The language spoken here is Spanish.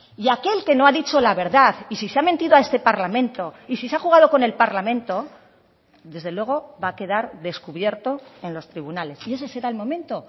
y aquel que no ha dicho la verdad y si se ha mentido a este parlamento y si se ha jugado con el parlamento desde luego va a quedar descubierto en los tribunales y ese será el momento